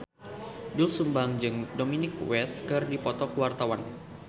Doel Sumbang jeung Dominic West keur dipoto ku wartawan